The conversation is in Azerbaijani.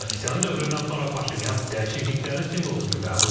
Sarkisyan dövründən sonra Paşinyan dəyişikliklərin simvolu kimi qəbul edildi.